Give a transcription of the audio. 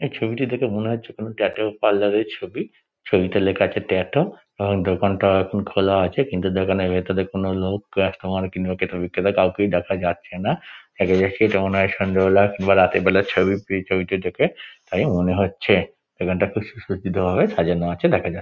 এই ছবিটি দেখে মনে হচ্ছে কোনো ট্যাটু পার্লার -এর ছবি ছবিতে লেখা আছে ট্যাটু আর দোকানটা এখন খোলা আছে কিন্তু দোকানের ভিতরে কোনো লোক কাস্টমার কিংবা ক্রেতা বিক্রেতা কাউকেই দেখা যাচ্ছে না এটা দেখেই তো মনে হয় সন্ধ্যা বেলা কিংবা রাতের বেলার ছবি এই ছবিটি দেখে তাই মনে হচ্ছে দোকানটা খুব সুসজ্জিত ভাবে সাজানো আছে দেখা যা --